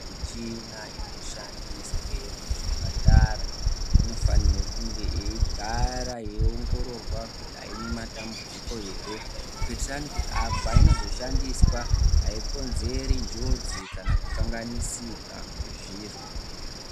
Michina inoshandiswe muzvipatara inofanirwe kunge yeigara yeiongororwa kuti haina matambudziko ere. Kuitirani kuti painozo shandiswa haikonzeri njodzi kana kukanganisika kwezviro.